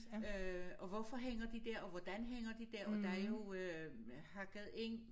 Øh og hvorfor hænger de dér og hvordan hænger de dér og der jo øh hakket ind